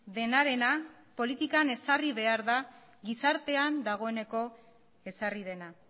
denarena politikan ezarri behar da gizartean dagoeneko ezarri dena